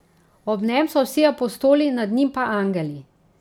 Ob njem so vsi apostoli, nad njim pa angeli.